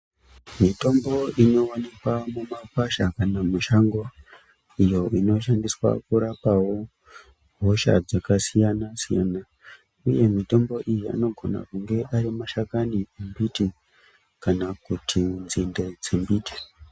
Mitombo inowanikwa mumakwasha kana mumashango iyo inoshandiswa kurapawo hosha dzakasiyana siyana, uye mitombo iyi anogona kunge ari mashakani embiti kana kuti nzinde dzemiti.